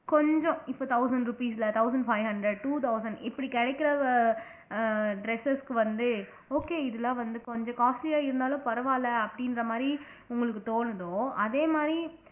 கொஞ்சம் இப்போ thousand rupees ல thousand five hundred two thousand இப்படி கிடைக்கிற அஹ் dresses க்கு வந்து okay இதுல வந்து கொஞ்சம் costly யா இருந்தாலும் பரவாயில்ல அப்படின்ற மாதிரி உங்களுக்கு தோணுதோ அதே மாதிரி